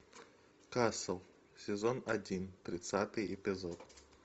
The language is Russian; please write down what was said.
касл сезон один тридцатый эпизод